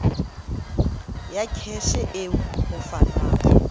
ya kheshe eo ho fanwang